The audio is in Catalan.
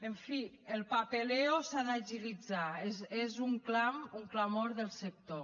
en fi el papeleo s’ha d’agilitzar és un clam un clamor del sector